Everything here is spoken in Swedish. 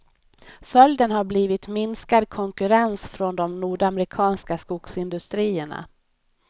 Följden har blivit minskad konkurrens från de nordamerikanska skogsindustrierna.